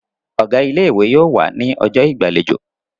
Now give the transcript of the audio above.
Ọ̀gá ilé-ìwé yóò wà ní ọjọ́ ìgbàlejò.